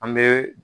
An bɛ